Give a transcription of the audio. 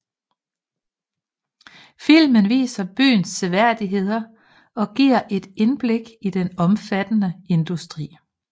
Filmen viser byens seværdigheder og giver et indblik i den omfattende industri